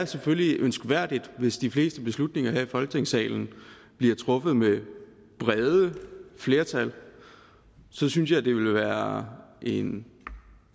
selvfølgelig er ønskværdigt hvis de fleste beslutninger her i folketingssalen bliver truffet med brede flertal så synes jeg det ville være en